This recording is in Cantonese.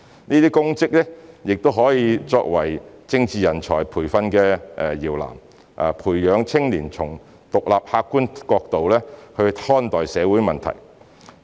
這些公職亦可作為政治人才培訓的搖籃，培養青年從獨立客觀角度看待社會問題。